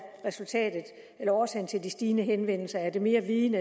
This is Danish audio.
årsagen til det stigende antal henvendelser er det mere viden